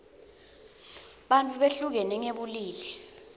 bantfu behlukene ngebulili